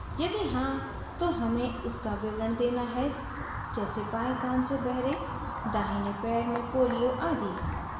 यदि हाँ तो हमें उसका विवरण देना है जैसे बाएं कान से बहरे दाहिने पैर में पोलियो आदि